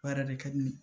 Baara de ka di ne ye